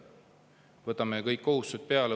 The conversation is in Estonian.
Võtame kõik kohustused peale!